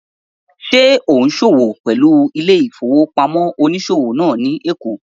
Ṣé ò ún ṣòwò pẹ̀lú ilé-ìfowópamọ́sí onísòwò náà ní èkó?